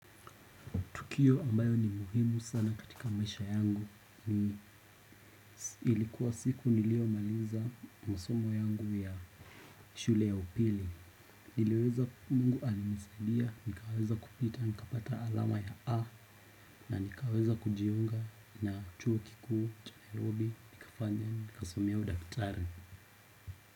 Tukio ambayo ni muhimu sana katika maisha yangu, ilikuwa siku niliyomaliza masomo yangu ya shule ya upili. Mungu alinisaidia, nikaweza kupita, nikapata alama ya A, na nikaweza kujiunga na chuo kikuu, cha nairobi, nikasomea udaktari.